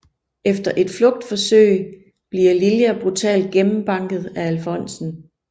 Efter et flugtforsøg bliver Lilja brutalt gennembanket af alfonsen